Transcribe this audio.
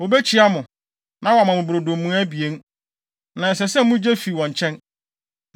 Wobekyia mo, na wɔama mo brodo mua abien, na ɛsɛ sɛ mugye fi wɔn nkyɛn.